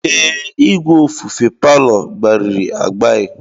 Ee, igwe ofufe palọ gbairi agbai.